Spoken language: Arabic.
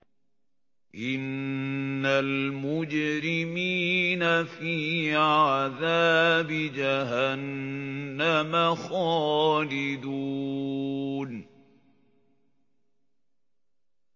إِنَّ الْمُجْرِمِينَ فِي عَذَابِ جَهَنَّمَ خَالِدُونَ